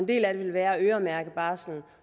del af dem vil være at øremærke barslen